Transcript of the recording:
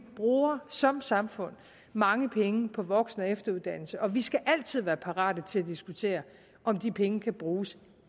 bruger som samfund mange penge på voksen og efteruddannelse og vi skal altid være parate til at diskutere om de penge kan bruges